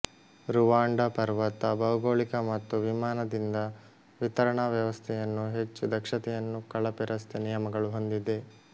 Rwanda ಪರ್ವತ ಭೌಗೋಳಿಕ ಮತ್ತು ವಿಮಾನದಿಂದ ವಿತರಣಾ ವ್ಯವಸ್ಥೆಯನ್ನು ಹೆಚ್ಚು ದಕ್ಷತೆಯನ್ನು ಕಳಪೆ ರಸ್ತೆ ನಿಯಮಗಳು ಹೊಂದಿದೆ